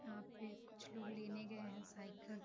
यहाँ पे कुछ लोग लेने गए हैं साइकिल --